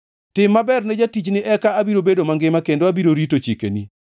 Tim maber ne jatichni, eka abiro bedo mangima kendo abiro rito chikeni.